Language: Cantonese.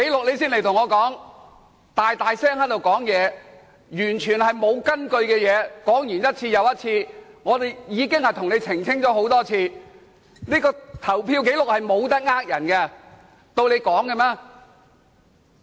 你在此大聲說完全沒有根據的事情，說完一次又一次，我們已經多次向你澄清了，投票紀錄是無法騙人的，豈容你亂說。